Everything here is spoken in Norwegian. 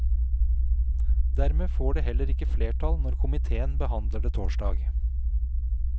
Dermed får det heller ikke flertall når komiteen behandler det torsdag.